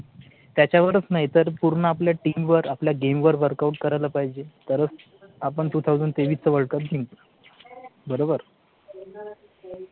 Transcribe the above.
त्याच्यावरच नाही तर पूर्ण आपल्या TEAM वर आपल्या GAME वर WORKOUT करायला पाहिजे तरच आपण two thousand तेवीस च world जिंकू. बरोबर?